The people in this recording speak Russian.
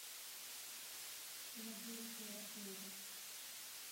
пелагеюшку ерофееву